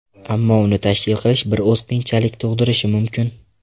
Ammo uni tashkil qilish bir oz qiyinchilik tug‘dirishi mumkin.